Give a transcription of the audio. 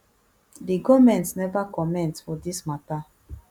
di goment neva comment for dis mata